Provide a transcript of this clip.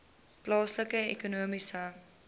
plaaslike ekonomiese